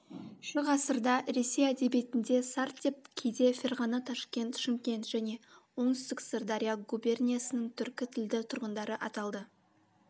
шы ғасырда ресей әдебиетінде сарт деп кейде ферғана ташкент шымкент және оңтүстік сырдария губерниясының түркі тілді тұрғындары аталды